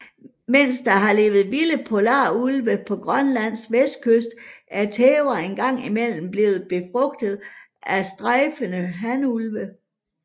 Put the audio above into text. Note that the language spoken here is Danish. Mens der har levet vilde polarulve på Grønlands vestkyst er tæver en gang imellem blevet befrugtet af strejfende hanulve